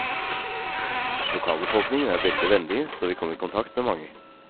Lokalbefolkningen er veldig vennlige så vi kom i kontakt med mange.